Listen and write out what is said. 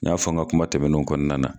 N y'a fɔ n ka kuma tɛmɛnenw kɔnɔna na.